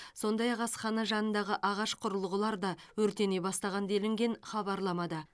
сондай ақ асхана жанындағы ағаш құрылғылар да өртене бастаған делінген хабарламада